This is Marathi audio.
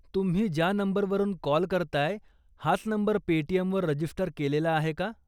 तुम्ही ज्या नंबरवरून कॉल करताय, हाच नंबर पेटीएमवर रजिस्टर केलेला आहे का ?